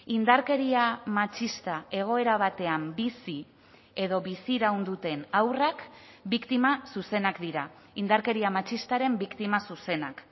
indarkeria matxista egoera batean bizi edo biziraun duten haurrak biktima zuzenak dira indarkeria matxistaren biktima zuzenak